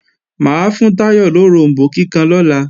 Mà á fún Táyọ̀ loròmbó kíkan lọ́la